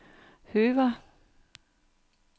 Høver